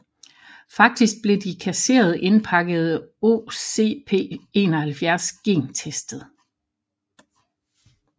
Faktisk blev de kasserede indpakkede OCP71 gentestet